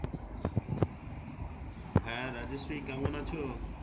হ্যাঁ রাজশ্রী কেমন আছো?